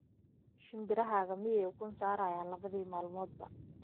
shinbirahaaga miyay ukun saarayaan labadii maalmoodba